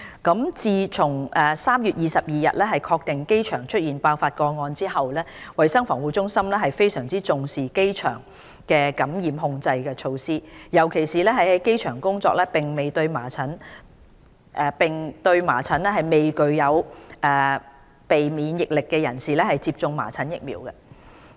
一自從3月22日確定機場出現爆發個案後，衞生防護中心非常重視機場的感染控制措施，尤其為於機場工作並對麻疹未具備免疫力的人士接種麻疹疫苗。